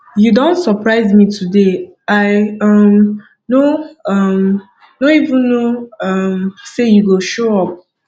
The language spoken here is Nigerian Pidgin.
you don surprise me today i um no um no even know um say you go show up